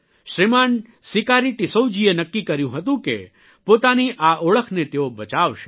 શ્રીમાન સિકારી ટિસ્સૌ જીએ નક્કી કર્યું હતું કે પોતાની આ ઓળખને તેઓ બચાવશે